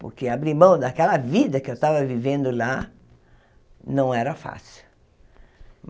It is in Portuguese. Porque abrir mão daquela vida que eu estava vivendo lá não era fácil.